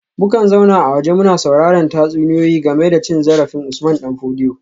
Mukan zauna a waje muna sauraren tatsuniyoyi game da cin zarafin Usman dan Fodio